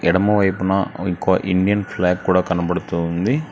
ఎడమ వైపున ఒఇంకో ఇండియన్ ఫ్లాగ్ కూడా కనబడుతూ ఉంది.